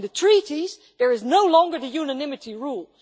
In the treaties, there is no longer the unanimity rule.